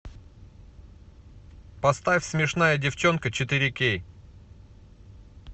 поставь смешная девчонка четыре кей